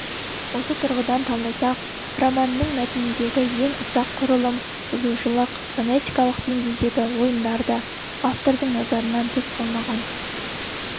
осы тұрғыдан талдасақ романның мәтініндегі ең ұсақ құрылым бұзушылық фонетикалық деңгейдегі ойындар да автордың назарынан тыс қалмаған